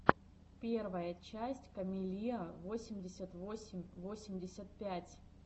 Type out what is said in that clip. первая часть камеллиа восемьдесят восемь восемьдесят пять